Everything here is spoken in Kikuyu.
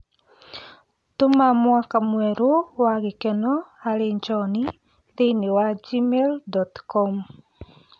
Tũma mũaka mwerũ wa gĩkeno harĩ john thĩini wa gmail dot com